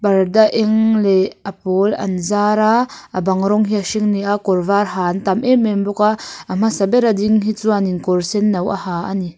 parda eng leh a pawl an zar a a bang rawng hi a hring ani a kawr var ha an tam em em bawk a a hmasa ber a ding hi chuanin kawr senno a ha ani.